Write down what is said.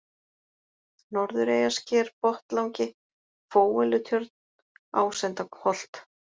Norðureyjarsker, Botnlangi, Fóellutjörn, Ásendaholt